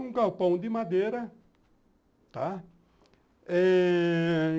Um galpão de madeira, tá?